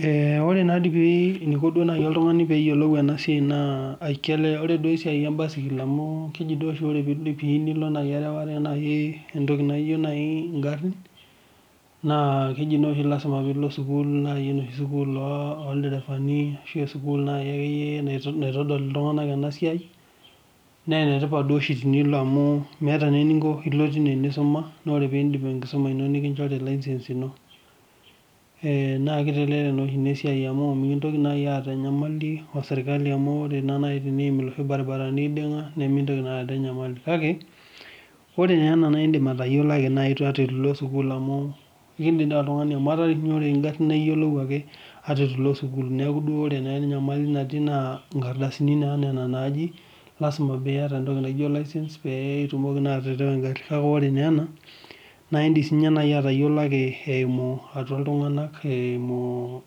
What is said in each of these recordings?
Ore naa deii oee eneiko naa nai oltungani peeyiolou ena saii naa kelo, ore duo esiai obasikili amu keji oshi ore pee nilo nai eraware enaaji entoki naijo nai ingarrin, naa keji naa oshi lasima piilo esukul naii sukuul oolderevani ashu esukul naake iyie naitodol iltunganak ena siai naa enetipat dei oshi tenilo amu meeta naa eninko piilo tenisuma naa ore peindip enkisuma ino nikinchori license ino. Naa keitelelek naa oshi inasiai amu mikintoki nai aata inyamali osirkali amu ore nai teneimu irbaribarani neiding'a nemeitoki naa aata inyamali kake ore naa ena naa indim atayiolo ake naa tenilo sukuul amuu indim dei oltungani amu etaa rei ore ingarri naa iyiolou ake ata eitu iko sukul, naaku ore naa enyamali natii naa inkardasini naa nena naaji lasima pieta naji license piitumoki naa atarawa ing'arri, naaku ore ninye ena naa indim sii nai atayiolo ake eimu atua iltunganak, eimu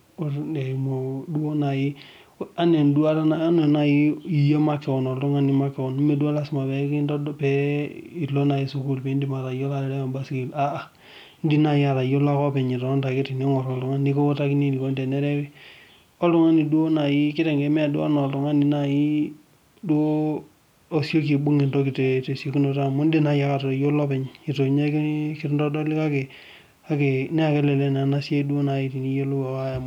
duo nai anaa enduata nai iyie makeon, oltungani makeon nemee duo lasima pee ilo nai sukuul piindim atayiolo taata engarri, indim nai atayiolo taata eton itonita ale teningoru oltungani nikutani eneikoni tenerewi. Naaku oltungani duo nai keitengeni, mee duo enaa oltungani nai duo osioki aibung' entoki tee siekunoto amu indim nai anoto atayiolo openye eitu ninye kintodoli kakenaa kelele naa ena siai duo nai teniyolou.